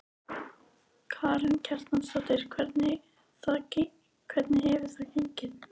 Karen Kjartansdóttir: Hvernig hefur það gengið?